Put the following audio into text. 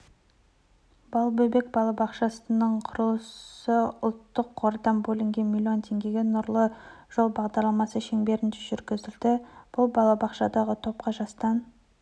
балбөбек балабақшасының құрылысыұлттық қордан бөлінген млн теңгеге нұрлы жол бағдарламасы шеңберінде жүргізілді бұл балабақшадағы топқа жастан